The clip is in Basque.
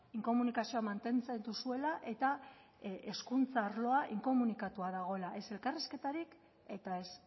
inkomunikazioa mantentzen duzue eta hezkuntza arloa inkomunikatuta dago ez elkarrizketarik eta ez